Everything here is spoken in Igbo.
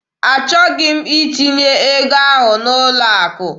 Achọghị m itinye ego ahụ n'ụlọ akụ.